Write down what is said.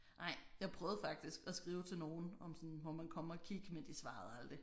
Nej jeg prøvede faktisk at skrive til nogen om sådan må man komme og kigge men de svarede aldrig